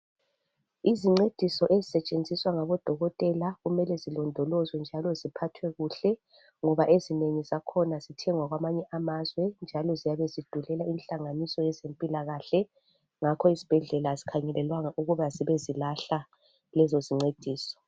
Izincediso ezisetshenziswa ngabodokotela kumele zilondolozwe njalo ziphathwe kuhle ngoba ezinengi zakhona zithengwa kwamanye amazwe njalo ziyabe zidulela inhlanganiso yezempilakahle, ngakho izibhedlela azikhangelelwanga ukube zibe zilahla lezo zincediso.